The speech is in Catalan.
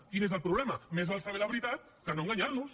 quin és el problema més val saber la veritat que no enganyar nos